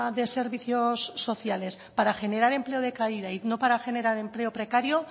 se servicios sociales para generar empleo de calidad y no para para generar precario